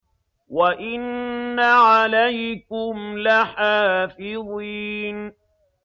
وَإِنَّ عَلَيْكُمْ لَحَافِظِينَ